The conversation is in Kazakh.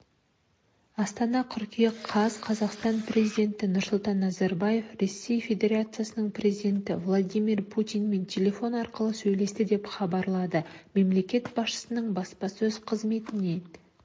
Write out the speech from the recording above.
астана қыркүйек қаз қазақстан президенті нұрсұлтан назарбаев ресей федерациясының президенті владимир путинмен телефон арқылы сөйлесті деп хабарлады мемлекет басшысының баспасөз қызметінен